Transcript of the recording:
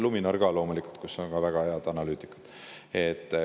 Luminor ka loomulikult, kus on väga head analüütikud.